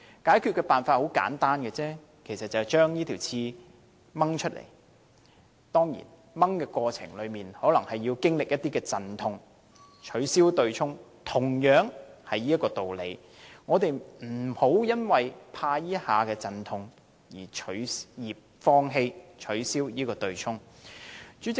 解決的辦法很簡單，就是拔出這根刺，當然，過程中可能要經歷一些陣痛。我們不應因為害怕這一下的陣痛，而放棄取消對沖機制。